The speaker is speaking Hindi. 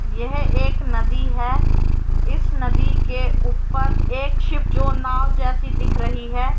यह एक नदी है। इस नदी के ऊपर एक शिप जो नाव जैसे दिख रही है।